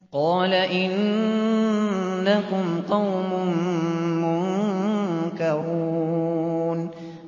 قَالَ إِنَّكُمْ قَوْمٌ مُّنكَرُونَ